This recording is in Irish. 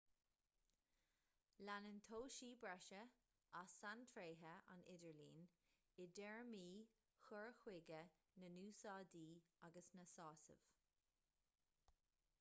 leanann toisí breise as saintréithe an idirlín i dtéarmaí chur chuige na n-úsáidí agus na sásamh